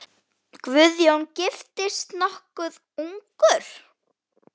Guðjón giftist nokkuð ungur.